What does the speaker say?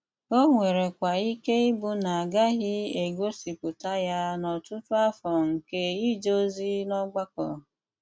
Ó nwérékwà íké íbụ́ ná ágàghị égósípùta yá n’ótụ́tù àfọ́ nké íjé òzí n’ọ́gbàkọ́.